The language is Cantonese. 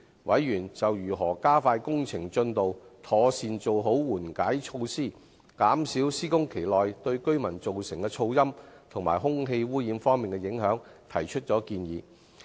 委員就如何加快工程進度、妥善做好緩解措施，減少施工期內對居民造成的噪音和空氣污染方面的影響，提出建議。